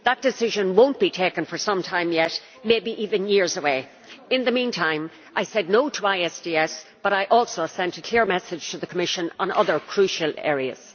That decision will not be taken for some time yet. It may even be years away. In the meantime, I said no' to ISDS, but I also sent a clear message to the Commission on other crucial areas.